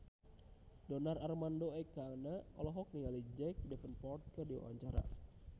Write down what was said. Donar Armando Ekana olohok ningali Jack Davenport keur diwawancara